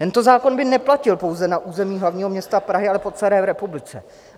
Tento zákon by neplatil pouze na území hlavního města Prahy, ale po celé republice.